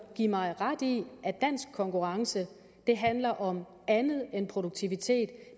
give mig ret i at dansk konkurrence handler om andet end produktivitet